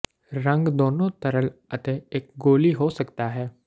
ਰੰਗ ਦੋਨੋ ਤਰਲ ਅਤੇ ਇੱਕ ਗੋਲੀ ਹੋ ਸਕਦਾ ਹੈ